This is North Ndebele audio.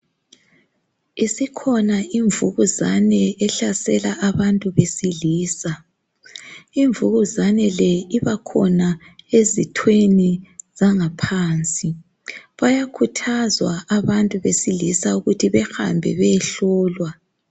Isikhona imvukuzane ehlasela abantu besilisa imvukuzane le ibakhona ezithweni zangaphansi bayakhuthazwa abantu besilisa ukuthi bahambe beyehlolwa.